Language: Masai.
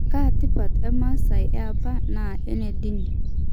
Kaa tipat e masai e apa naa enendini.